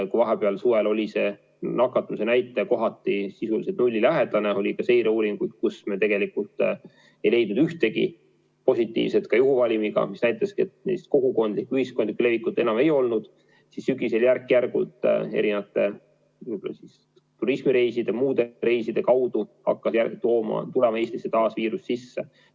Kui vahepeal, suvel oli nakatumise näitaja kohati sisuliselt nullilähedane ja oli ka seireuuringuid, kus me tegelikult ei leidnud ühtegi positiivset ka juhuvalimiga mitte, mis näitaski, et kogukondlikku, ühiskondlikku levikut enam ei olnud, siis sügisel järk-järgult turismireiside ja muude reiside tõttu hakkas viirus Eestisse taas sisse tulema.